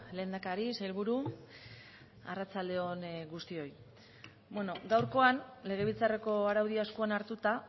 lehendakari sailburu arratsalde on guztioi beno gaurkoan legebiltzarreko araudia eskuan hartuta